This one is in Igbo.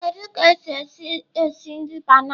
Kedu ka esi esi esi nri banana?